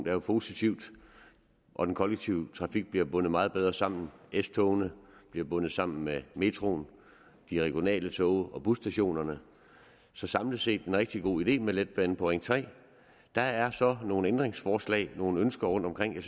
er jo positivt og den kollektive trafik bliver bundet meget bedre sammen s togene bliver bundet sammem med metroen de regionale tog og busstationerne så samlet set er rigtig god idé med letbane på ring tredje der er så nogle ændringsforslag nogle ønsker rundtomkring